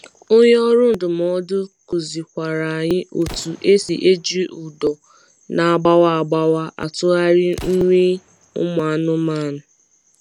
Onye ọrụ ndụmọdụ kuzi kwara anyi otu esi eji ụdọ na agbawa agbawa atụgharị nri nri ụmụ anụmanụ